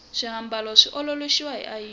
swiambalo swi ololoxiwa hi ayini